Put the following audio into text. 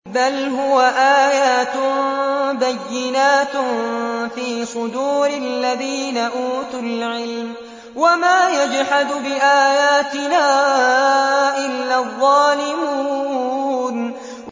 بَلْ هُوَ آيَاتٌ بَيِّنَاتٌ فِي صُدُورِ الَّذِينَ أُوتُوا الْعِلْمَ ۚ وَمَا يَجْحَدُ بِآيَاتِنَا إِلَّا الظَّالِمُونَ